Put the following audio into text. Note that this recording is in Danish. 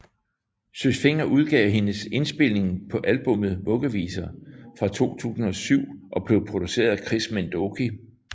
Søs Fenger udgav hendes indspilning på albummet Vuggeviser fra 2007 og blev produceret af Chris Minh Doky